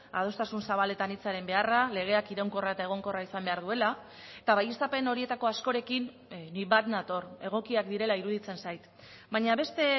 adostasun zabaletan hitzaren beharra legeak iraunkorra eta egonkorra izan behar duela eta baieztapen horietako askorekin nik bat nator egokiak direla iruditzen zait baina beste